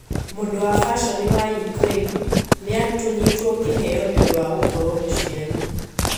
Mũndũ wa fashoni wa Ukraine niatunyitwo kiheo niundũ wa gũkorwo muciari.